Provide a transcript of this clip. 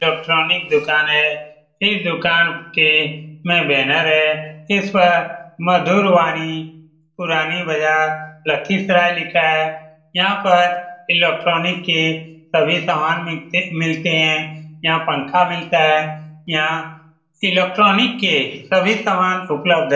Electronic दुकान है | इस दुकान के में बैनर है | इस मधुर वाणी पुरानी बजार लाखिसराए लिखा है | यहाँ पर इलेक्ट्रॉनिक के सभी सामान मिक मिलते है यहाँ पंखा मिलता है यहाँ इलेक्ट्रॉनिक के सभी सामान उपलब्ध है ।